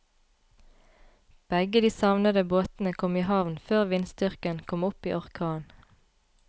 Begge de savnede båtene kom i havn før vindstyrken kom opp i orkan.